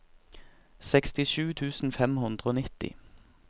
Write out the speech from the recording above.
sekstisju tusen fem hundre og nitti